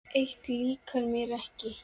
Eitt líkar mér ekki.